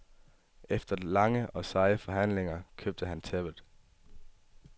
Efter lange og seje forhandlinger købte han tæppet.